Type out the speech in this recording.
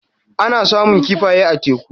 Ana samun kifaye a teku.